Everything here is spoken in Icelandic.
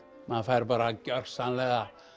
maður fær bara gjörsamlega